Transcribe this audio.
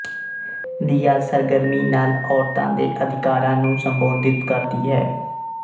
ਦੀਆ ਸਰਗਰਮੀ ਨਾਲ ਔਰਤਾਂ ਦੇ ਅਧਿਕਾਰਾਂ ਨੂੰ ਸੰਬੋਧਿਤ ਕਰਦੀ ਹੈ